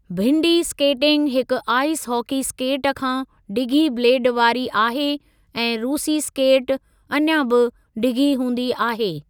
भिंडी skating हिकु ice hockey skate खां डिघी ब्लेड वारी आहे ऐं 'रूसी स्केटि' अञा बि डिघी हूंदी आहे।